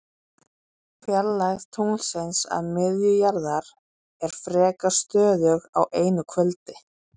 Fjarlægð tunglsins að miðju jarðar er frekar stöðug á einu kvöldi.